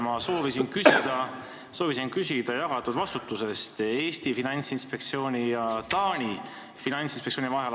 Hea minister, ma soovisin küsida jagatud vastutuse kohta Eesti Finantsinspektsiooni ja Taani samasuguse inspektsiooni vahel.